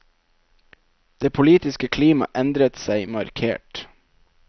Det politiske klima endret seg markert.